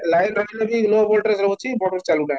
light ରହିଲେ ବି low voltage ରେ ରହୁଛି motor ଚାଲୁ ନାହିଁ